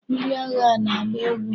Ndị agha na-agba egwu.